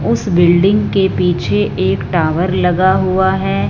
उस बिल्डिंग के पीछे एक टावर लगा हुआ है।